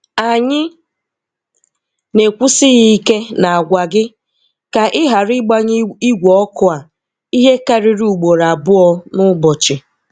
Anyị na-ekwusi ya ike na-agwa gị ka ị ghara ịgbanye ígwe ọkụ a ihe karịrị ugboro abụọ n'ụbọchị.